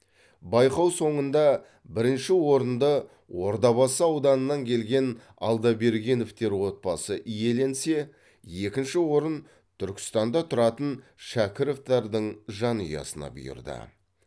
байқау соңында бірінші орынды ордабасы ауданынан келген алдабергеновтер отбасы иеленсе екінші орын түркістанда тұратын шакіровтардың жанұясына бұйырды